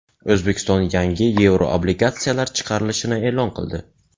O‘zbekiston yangi yevroobligatsiyalar chiqarilishini e’lon qildi.